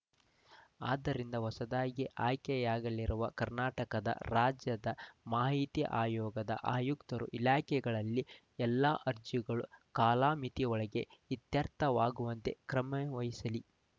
ಆದ್ದರಿಂದ ಹೊಸದಾಗಿ ಆಯ್ಕೆಯಾಗಲಿರುವ ಕರ್ನಾಟಕದ ರಾಜ್ಯದ ಮಾಹಿತಿ ಆಯೋಗದ ಆಯುಕ್ತರು ಇಲಾಖೆಗಳಲ್ಲಿ ಎಲ್ಲ ಅರ್ಜಿಗಳು ಕಾಲಮಿತಿಯೊಳಗೆ ಇತ್ಯರ್ಥವಾಗುವಂತೆ ಕ್ರಮವಹಿಸಲಿ